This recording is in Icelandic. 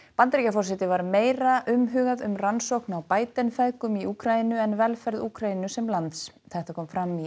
Bandaríkjaforseta var meira umhugað um rannsókn á feðgum í Úkraínu en velferð Úkraínu sem lands þetta kom fram í